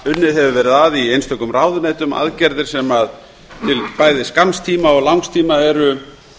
unnið hefur verið að í einstökum ráðuneytum aðgerðir sem til bæði skamms tíma og langs tíma eru